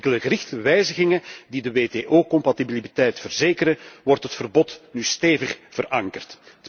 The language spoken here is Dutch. Met enkele gerichte wijzigingen die de WTO compatibiliteit verzekeren wordt het verbod nu stevig verankerd.